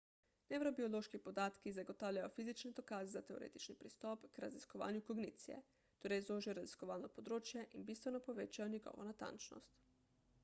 nevrobiološki podatki zagotavljajo fizične dokaze za teoretični pristop k raziskovanju kognicije torej zožijo raziskovalno področje in bistveno povečajo njegovo natančnost